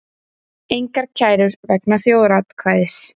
Engar kærur vegna þjóðaratkvæðis